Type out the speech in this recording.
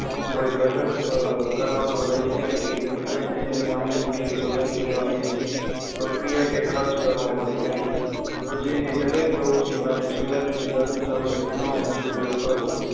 કોઈ ધટક કરવાન રહી જાય નહિ અને તેને સાંભળી કે સુધારી લેવા બીજી પ્રક્રિયા કે ખર્ચ કરવો પડે નહિ રોજીંદી દરેક પ્રવુતિ માટે સુધારેલી સાધનસામગ્રી નો જ ઉપયોગ કરવો